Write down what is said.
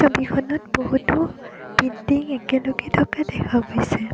ছবিখনত বহুতো বিল্ডিং একেলগে থকা দেখা গৈছে।